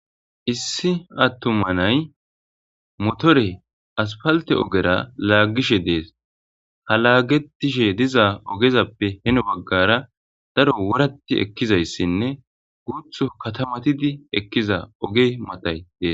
Issi atuma nay motore asapalttera ogera lagishshe des ha lagetishshe diza ogezappe heno bagara daro worat ekizaysinne guthu katamatid ekiza oge maatay des